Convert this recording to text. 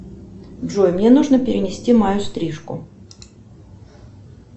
джой мне нужно перенести мою стрижку